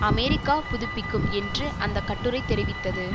America புதுப்பிக்கும் என்று அந்த கட்டுரை தெரிவித்தது